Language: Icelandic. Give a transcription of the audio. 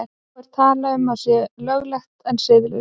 Þá er talað um að sé löglegt en siðlaust.